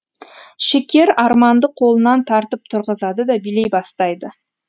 шекер арманды қолынан тартып тұрғызады да билей бастайды